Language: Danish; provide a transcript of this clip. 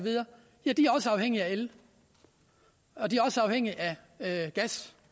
afhængige af el og de er også afhængige af gas